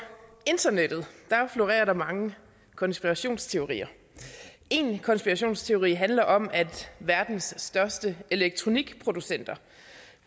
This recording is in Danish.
internettet florerer der mange konspirationsteorier en konspirationsteori handler om at verdens største elektronikproducenter